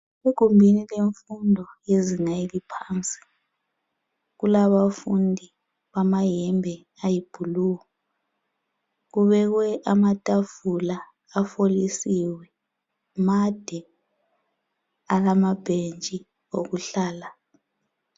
Egumbini lemfundo yezinga eliphansi kulabafundi bamayembe ayi blue kubekwe amatafula afolisiwe, made alamabhentshi okuhlala